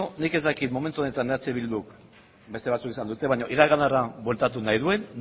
nik ez dakit momentu honetan eh bilduk beste batzuek esan dute iraganera bueltatu nahi duen